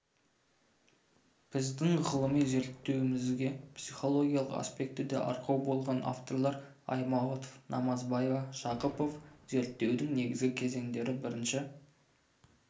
біздің ғылыми зерттеуімізге психологиялық аспектіде арқау болған авторлар аймауытов намазбаева жақыпов зерттеудің негізгі кезеңдері бірінші